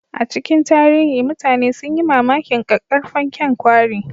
A cikin tarihi, mutane sun yi mamakin ƙaƙƙarfan kyan kwari